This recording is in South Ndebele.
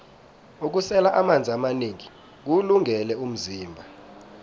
ukusela amanzi amanengi kuwulungele umzimba